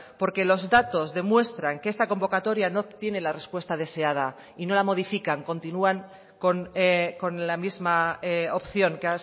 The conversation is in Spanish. porque los datos demuestran que esta convocatoria no obtiene la respuesta deseada y no la modifican continúan con la misma opción que